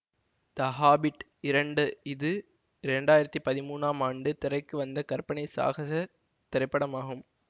த Hobbit இரண்டு இது இரண்டு ஆயிரத்தி பதிமூன்றாம் ஆண்டு திரைக்கு வந்த கற்பனை சாகசத் திரைப்படம் ஆகும்